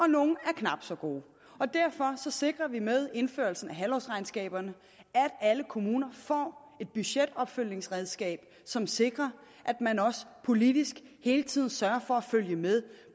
nogle er knap så gode derfor sikrer vi med indførelsen af halvårsregnskaberne at alle kommuner får et budgetopfølgningsredskab som sikrer at man også politisk hele tiden kan sørge for at følge med